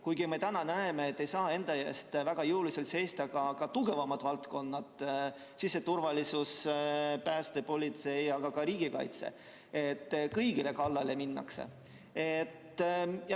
Kuigi me täna näeme, et väga jõuliselt ei saa enda eest seista ka tugevamad valdkonnad, siseturvalisus, pääste, politsei ega ka riigikaitse, sest kõigi kallale minnakse.